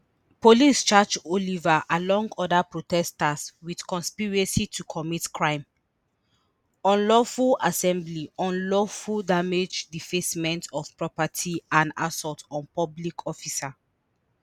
police charge oliver along oda protesters wit conspiracy to commit crime unlawful assembly unlawful damage defacement of property and assault on public officer